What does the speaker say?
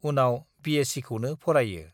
उनाव बिएससिखौनो फरायो।